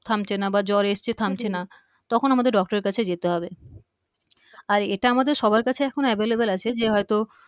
থামছেনা বা জ্বর এসছে থামছেনা তখন আমাদের doctor এর কাছে যেতে হবে আর এটা আমাদের সবার কাছে এখন available আছে যে হয়তো